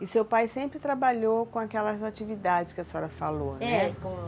E seu pai sempre trabalhou com aquelas atividades que a senhora falou, né? É, com